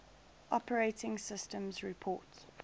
operating systems report